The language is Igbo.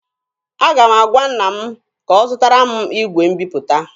Aga m agwa nna m ka ọ zụtara m igwe mbiputa.